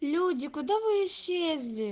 люди куда вы исчезли